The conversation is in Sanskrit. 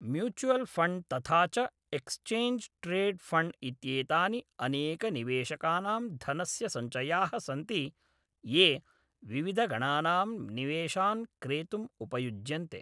म्यूचुवल् फण्ड् तथा च एक्स्चेञ्ज् ट्रेड् फण्ड् इत्येतानि अनेकनिवेशकानां धनस्य सञ्चयाः सन्ति ये विविधगणनां निवेशान् क्रेतुम् उपयुज्यन्ते।